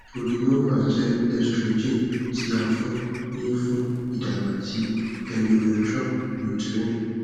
progynova jẹ estrogen ti a fun ni fun idagba ti endometrium uterine